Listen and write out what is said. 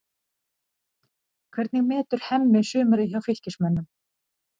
Hvernig metur Hemmi sumarið hjá Fylkismönnum?